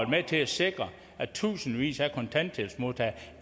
med til at sikre at tusindvis af kontanthjælpsmodtagere